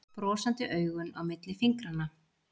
Brosandi augun á milli fingranna.